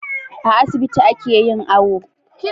A asibiti ake yin awo